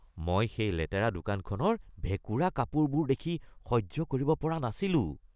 মই সেই লেতেৰা দোকানখনৰ ভেঁকুৰা কাপোৰবোৰ দেখি সহ্য কৰিব পৰা নাছিলোঁ।